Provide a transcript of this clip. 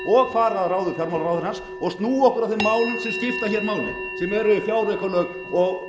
fara að ráði fjármálaráðherrans og snúa okkur að þeim málum sem skipta máli